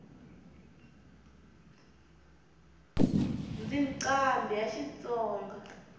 ndzi nqambhi ya xitsonga